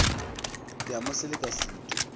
ke a mo seleka setu